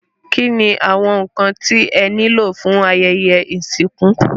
Kíni àwọn nkan tí ẹ ní lò fún ayẹyẹ ìsìnkú.?